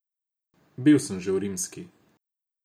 Bil sem že v rimski.